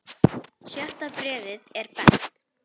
Sjötta bréfið er best.